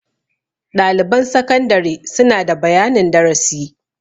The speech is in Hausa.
Ɗaliban sakandare suna da bayanin darasi.